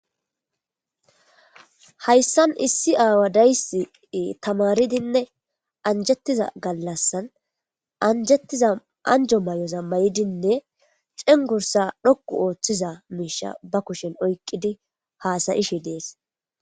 Hayssan issi aawa dayssi tamaaridinne anjjettiza gaallassan anjjettiza anjjoayoza maayidiinne cenggurssa dhoqqu Oththiza miishsha ba kushshen oyqidii hassayishe dees